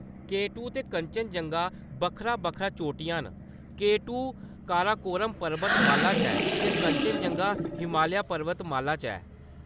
के two ते कंचनजंगा बक्खरा - बक्खरा चोटियाँ न, के टू काराकोरम परबत-माला च ऐ, ते कंचनजंगा हिमालिया परबत-माला च ऐ।